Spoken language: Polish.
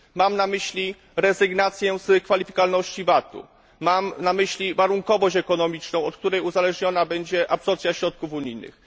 Mam na myśli rezygnację z kwalifikowalności VAT u, mam na myśli warunkowość ekonomiczną, od której uzależniona będzie absorpcja środków unijnych.